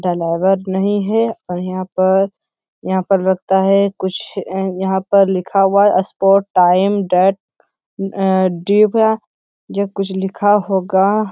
नहीं है और यहाँ पर यहाँ पर लगता है कुछ यहाँ पर लिखा हुआ है स्पॉट टाइम देट अम जो कुछ लिखा होगा --